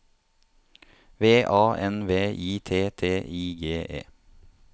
V A N V I T T I G E